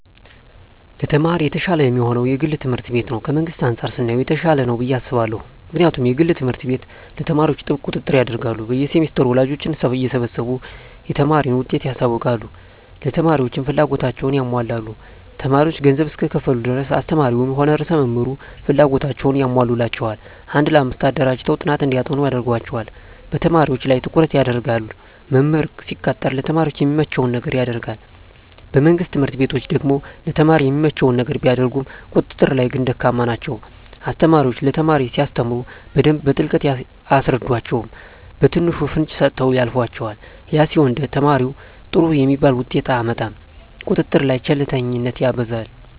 ለተማሪ የተሻለ የሚሆነዉ የግል ትምህርት ቤት ነዉ ከመንግስት አንፃር ስናየዉ የተሻለ ነዉ ብየ አስባለሁ ምክንያቱም የግል ትምህርት ቤት ለተማሪዎች ጥብቅ ቁጥጥር ያደርጋሉ በየ ሴምስተሩ ወላጆችን እየሰበሰቡ የተማሪን ዉጤት ያሳዉቃሉ ለተማሪዎችም ፍላጎታቸዉን ያሟላሉ ተማሪዎች ገንዘብ እስከከፈሉ ድረስ አስተማሪዉም ሆነ ርዕሰ መምህሩ ፍላጎታቸዉን ያሟሉላቸዋል አንድ ለአምስት አደራጅተዉ ጥናት እንዲያጠኑ ያደርጓቸዋል በተማሪዎች ላይ ትኩረት ይደረጋል መምህር ሲቀጠር ለተማሪ የሚመቸዉን ነገር ያደርጋል በመንግስት ትምህርት ቤቶች ደግሞ ለተማሪ የሚመቸዉን ነገር ቢያደርጉም ቁጥጥር ላይ ግን ደካማ ናቸዉ አስተማሪዎች ለተማሪ ሲያስተምሩ በደንብ በጥልቀት አያስረዷቸዉም በትንሹ ፍንጭ ሰጥተዉ ያልፏቸዋል ያ ሲሆን ተማሪዉ ጥሩ የሚባል ዉጤት አያመጣም ቁጥጥር ላይ ቸልተኝነት ይበዛል